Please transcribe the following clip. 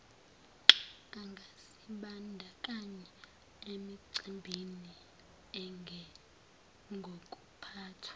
angazibandakanya emicimbini enjengokuphathwa